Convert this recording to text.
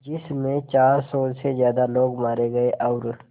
जिस में चार सौ से ज़्यादा लोग मारे गए और